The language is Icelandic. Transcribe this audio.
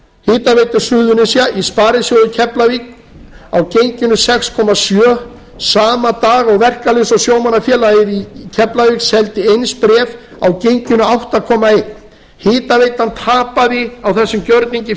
hitaveitu suðurnesja í sparisjóði í keflavík á genginu sex komma sjö sama dag og verkalýðs og sjómannafélagið í keflavík seldi eins bréf á genginu átta komma eitt hitaveitan tapaði á þessum gjörningi